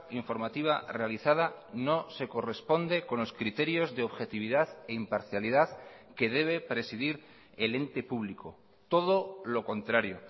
informativa realizada no se corresponde con los criterios de objetividad e imparcialidad que debe presidir el ente público todo lo contrario